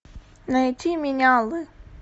найти менялы